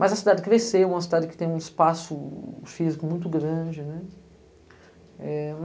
Mas a cidade cresceu, uma cidade que tem um espaço físico muito grande, né?